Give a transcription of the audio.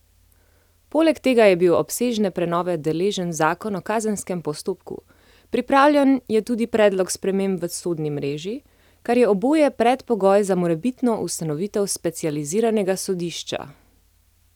Poleg tega je bil obsežne prenove deležen zakon o kazenskem postopku, pripravljen je tudi predlog sprememb v sodni mreži, kar je oboje predpogoj za morebitno ustanovitev specializiranega sodišča.